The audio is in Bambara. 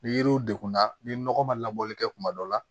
Ni yiriw degunna ni nɔgɔ ma labɔli kɛ kuma dɔ la